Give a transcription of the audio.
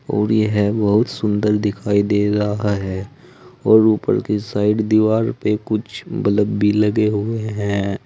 और यह बहुत सुंदर दिखाई दे रहा है और ऊपर के साइड दीवार पे कुछ बल्ब भी लगे हुए हैं।